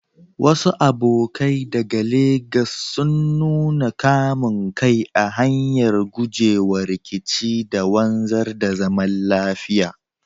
Wasu abokai daga Legas sun nuna kamun kai ta hanyar gujewa rikici da wanzar da zaman lafiya.